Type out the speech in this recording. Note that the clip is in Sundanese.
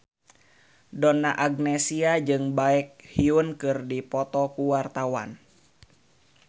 Donna Agnesia jeung Baekhyun keur dipoto ku wartawan